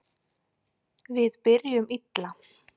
Við byrjuðum illa